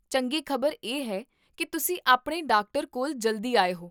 ਚੰਗੀ ਖ਼ਬਰ ਇਹ ਹੈ ਕੀ ਤੁਸੀਂ ਆਪਣੇ ਡਾਕਟਰ ਕੋਲ ਜਲਦੀ ਆਏ ਹੋ